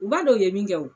U b'a dɔn u ye min kɛ wo